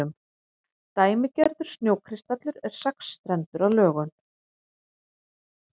dæmigerður snjókristallur er sexstrendur að lögun